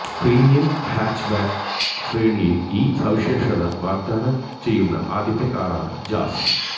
premium hatchback ശ്രേണിയിൽ ഈ സവിശേഷത വാഗ്ദാനം ചെയ്യുന്ന ആദ്യത്തെ കാറാണ് ജാസ്